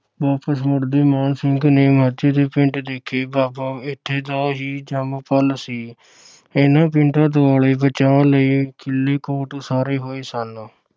ਵਾਪਸ ਮੁੜਦੇ ਮਾਣ ਸਿੰਘ ਨੇ ਮਾਝੇ ਦੇ ਪਿੰਡ ਦੇਖੇ। ਬਾਬਾ ਇਥੇ ਦਾ ਹੀ ਜੰਮਪਲ ਸੀ। ਇਨ੍ਹਾਂ ਪਿੰਡਾਂ ਦੁਆਲੇ ਬਚਾਅ ਲਈ ਕਿਲੀ ਕੋਟ ਉਸਾਰੇ ਹੋਏ ਸਨ।